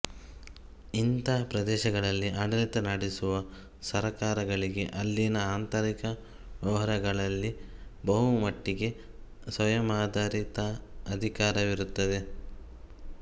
ಇಂಥ ಪ್ರದೇಶಗಳಲ್ಲಿ ಆಡಳಿತ ನಡೆಸುವ ಸರ್ಕಾರಗಳಿಗೆ ಅಲ್ಲಿನ ಆಂತರಿಕ ವ್ಯವಹಾರಗಳಲ್ಲಿ ಬಹಳಮಟ್ಟಿಗೆ ಸ್ವಯಮಾಡಳಿತಾಧಿಕಾರವಿರುತ್ತದೆ